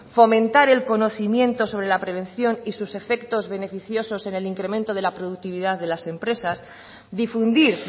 fomentar el conocimiento sobre la prevención y sus efectos beneficiosos en el incremento de la productividad de las empresas difundir